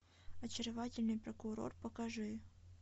очаровательный прокурор покажи